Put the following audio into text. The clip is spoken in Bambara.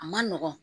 A ma nɔgɔn